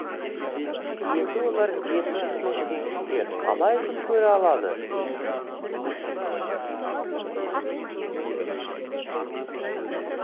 енді олар жетпіс мың теңгеге қалай күн көре алады